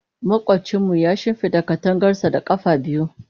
Makwabcinmu ya shimfida katangarsa da ƙafa biyu.